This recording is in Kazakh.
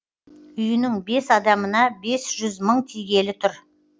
үйінің бес адамына бес жүз мың тигелі тұр